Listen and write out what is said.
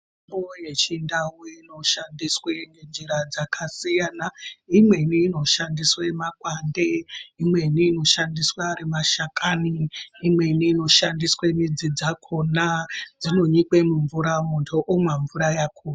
Mitombo yechindau inoshandiswe ngenjira dzakasiyana. Imweni inoshandiswe makwande. Imweni inoshandiswe ari mashakani. Imweni inoshandiswe midzi dzakhona dzinonyikwe mumvura munhu omwa mvura yakhona.